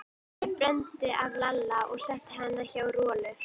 Jói þreif Bröndu af Lalla og setti hana hjá Rolu.